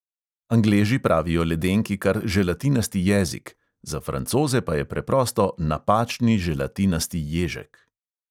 Angleži pravijo ledenki kar želatinasti jezik, za francoze pa je preprosto napačni želatinasti ježek.